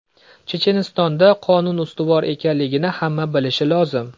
Chechenistonda qonun ustuvor ekanligini hamma bilishi lozim.